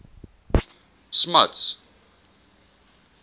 smuts